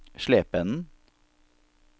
Slependen